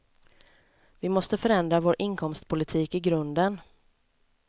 Vi måste förändra vår inkomstpolitik i grunden.